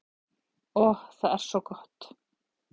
Og það er svo gott.